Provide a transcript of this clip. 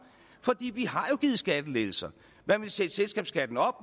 for vi har jo givet skattelettelser man ville sætte selskabsskatten op